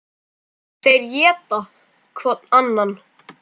Þeir éta hvorn annan.